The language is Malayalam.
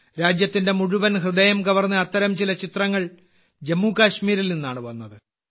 രാജ്യത്തിന്റെ മുഴുവൻ ഹൃദയം കവർന്ന അത്തരം ചില ചിത്രങ്ങൾ ജമ്മു കശ്മീരിൽ നിന്നാണ് വന്നത്